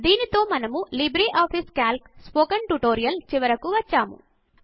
దీనితో మనము LibreOffice Calc spoken tutorial చివరకు వచ్చేసాము